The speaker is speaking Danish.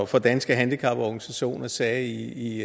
for danske handicaporganisationer sagde i